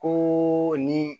Ko ni